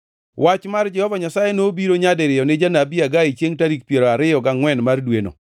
Wach mar Jehova Nyasaye nobiro nyadiriyo ni janabi Hagai chiengʼ tarik piero ariyo gangʼwen mar dweno: